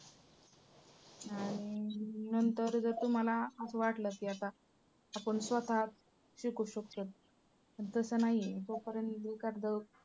आणि~ नंतर जर तुम्हाला असं वाटलं की आता आपण स्वतः शिकू शकतो पण तसं नाही आहे जोपर्यंत एखादं